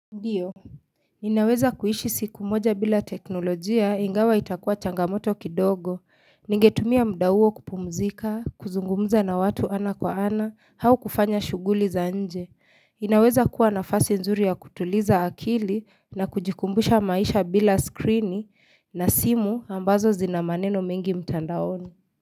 Ndiyo, ninaweza kuishi siku moja bila teknolojia ingawa itakuwa changamoto kidogo, ningetumia muda huo kupumzika, kuzungumza na watu ana kwa ana, au kufanya shughuli za nje. Inaweza kuwa nafasi nzuri ya kutuliza akili na kujikumbusha maisha bila skrini na simu ambazo zina maneno mingi mtandaoni.